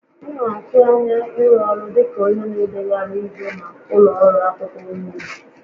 M na-atụ anya ịrụ ọrụ dị ka onye na-edegharị ihe na ụlọ ọrụ akwụkwọ nuuzu